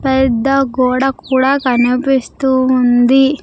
పెద్ద గోడ కూడా కనిపిస్తూ ఉంది.